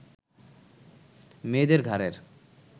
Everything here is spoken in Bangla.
মেয়েদের ঘাড়ের